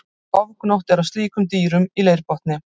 Ofgnótt er af slíkum dýrum í leirbotni.